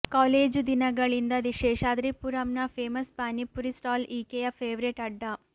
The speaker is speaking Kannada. ಕಾಲೇಜು ದಿನಗಳಿಂದ ಶೇಷಾದ್ರಿಪುರಂನ ಫೇಮಸ್ ಪಾನಿಪುರಿ ಸ್ಟಾಲ್ ಈಕೆಯ ಫೇವರೇಟ್ ಅಡ್ಡಾ